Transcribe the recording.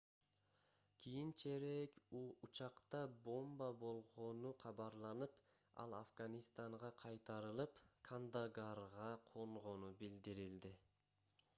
кийинчерээк учакта бомба болгону кабарланып ал афганистанга кайтарылып кандагарга конгону билдирилди